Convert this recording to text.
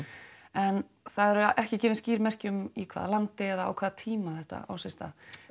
en það eru ekki gefin skýr merki um í hvaða landi eða á hvaða tíma þetta á sér stað